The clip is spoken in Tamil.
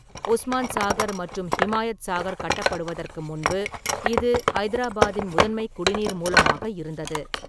உஸ்மான் சாகர் மற்றும் ஹிமாயத் சாகர் கட்டப்படுவதற்கு முன்பு இது ஐதராபாத்தின் முதன்மை குடிநீர் மூலமாக இருந்தது.